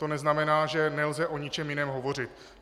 To neznamená, že nelze o ničem jiném hovořit.